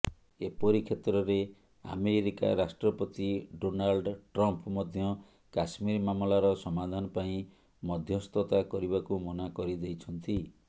ଏପରିକ୍ଷେତ୍ରରେ America ରାଷ୍ଟ୍ରପତି Donald Trump ମଧ୍ୟ କାଶ୍ମୀର ମାମଲାର ସମାଧାନ ପାଇଁ ମଧ୍ୟସ୍ଥତା କରିବାକୁ ମନା କରିଦେଇଛନ୍ତି